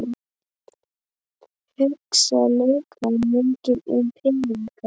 Hugsa leikmenn mikið um peninga?